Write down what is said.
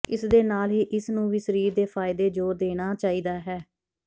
ਇਸ ਦੇ ਨਾਲ ਹੀ ਇਸ ਨੂੰ ਵੀ ਸਰੀਰ ਦੇ ਫਾਇਦੇ ਜ਼ੋਰ ਦੇਣਾ ਚਾਹੀਦਾ ਹੈ